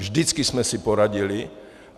Vždycky jsme si poradili.